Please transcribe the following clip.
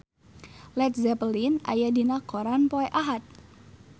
Led Zeppelin aya dina koran poe Ahad